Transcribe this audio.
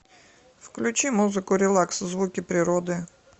включи музыку релакс звуки природы